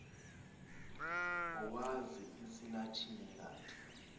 owazi isilatina kanti